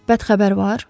Bədxəbər?